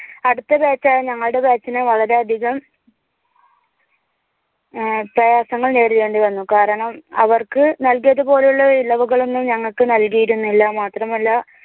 അടുത്ത batch ആയ ഞങ്ങളുടെ batch ഇനു വളരെയധികം പ്രയാസങ്ങൾ നേരിടേണ്ടി വന്നിരുന്നു കാരണം അവർക്ക് നൽകിയത് പോലെയുള്ള ഇളവുകൾ ഒന്നും ഞങ്ങൾക്ക് നൽകിയിരുന്നില്ല. മാത്രമല്ല